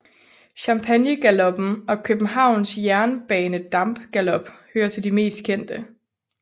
Champagnegaloppen og Københavns Jernbanedampgalop hører til de mest kendte